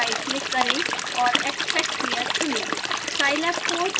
इस फाइल पर राइटक्लिक करें और extract here चुनें